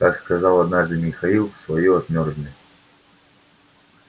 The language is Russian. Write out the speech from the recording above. как сказал однажды михаил своё отмёрзли